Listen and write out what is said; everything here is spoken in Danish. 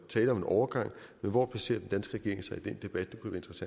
tale om en overgang men hvor placerer den danske regering sig i den debat